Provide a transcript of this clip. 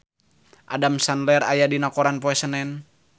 Adam Sandler aya dina koran poe Senen